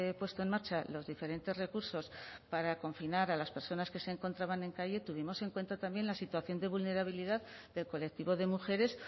puesto en marcha los diferentes recursos para confinar a las personas que se encontraban en calle tuvimos en cuenta también la situación de vulnerabilidad del colectivo de mujeres